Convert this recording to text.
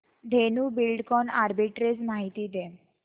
Dhenu Buildcon arbitrage माहिती दे